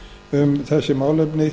um þessi málefni